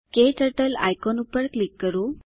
ક્ટર્ટલ icon ઉપર click કરો